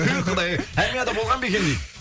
ту құдай ай армияда болған ба екен дейді